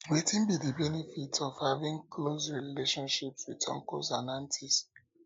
wetin be di benefit of having close relationship with uncles and aunties